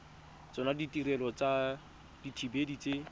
tsona ditirelo tsa dithibedi tse